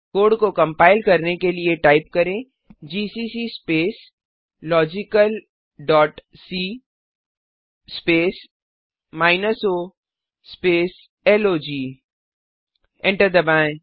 code को compile करने के लिए टाइप करें GCC space logical dot C space minus O space log enter दबाएँ